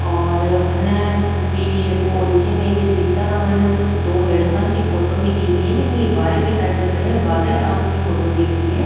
और कन भी जेको ये ए.टी.एम. शीशा का माइन कुछ दो लड़का की फोटो दिख रही है लेकिन ये बाहर की साइड में खड़े है और बाहर आकी फोटो दिख रही है।